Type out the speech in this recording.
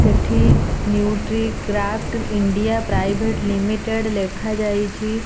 ଏଠି Nutricraft India private limited ଲେଖାଯାଇଚି।